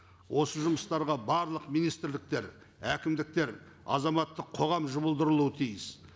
осы жұмыстарға барлық министрліктер әкімдіктер азаматтық қоғам жұмылдырылуы тиіс